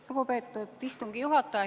Lugupeetud istungi juhataja!